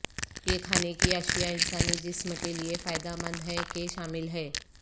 یہ کھانے کی اشیاء انسانی جسم کے لئے فائدہ مند ہیں کہ شامل ہے